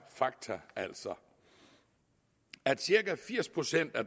fakta altså at cirka firs procent af